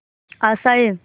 आशाएं